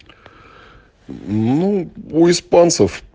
ну у испанцев